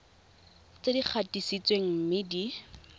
tse di gatisitsweng mme di